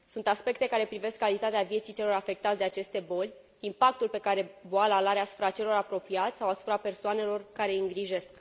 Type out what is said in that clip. Sunt aspecte care privesc calitatea vieții celor afectați de aceste boli, impactul pe care boala îl are asupra celor apropiați sau asupra persoanelor care îi îngrijesc.